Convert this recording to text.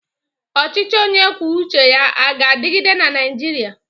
Ọchịchị onye kwuo uche ya aga-adịgide na Naịjirịa?